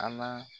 An ma